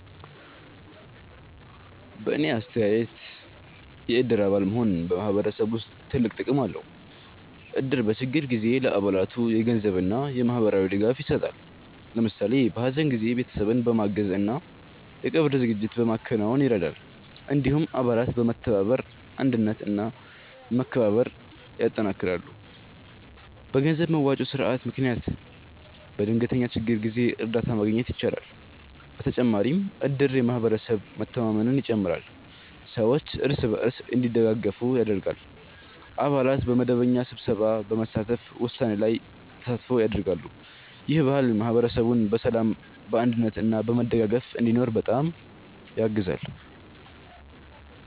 በእኔ አስተያየት የእድር አባል መሆን በማህበረሰብ ውስጥ ትልቅ ጥቅም አለው። እድር በችግር ጊዜ ለአባላቱ የገንዘብ እና የማህበራዊ ድጋፍ ይሰጣል። ለምሳሌ በሀዘን ጊዜ ቤተሰብን በማገዝ እና የቀብር ዝግጅት በማከናወን ይረዳል። እንዲሁም አባላት በመተባበር አንድነት እና መከባበር ያጠናክራሉ። በገንዘብ መዋጮ ስርዓት ምክንያት በድንገተኛ ችግር ጊዜ እርዳታ ማግኘት ይቻላል። በተጨማሪም እድር የማህበረሰብ መተማመንን ይጨምራል፣ ሰዎች እርስ በርስ እንዲደጋገፉ ያደርጋል። አባላት በመደበኛ ስብሰባ በመሳተፍ ውሳኔ ላይ ተሳትፎ ያደርጋሉ። ይህ ባህል ማህበረሰቡን በሰላም፣ በአንድነት እና በመደጋገፍ እንዲኖር በጣም ያግዛል።